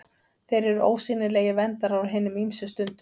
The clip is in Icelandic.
Þeir eru ósýnilegir verndarar á hinum ýmsu stundum.